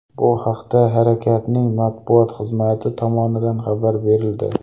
Bu haqda harakatning matbuot xizmati tomonidan xabar berildi .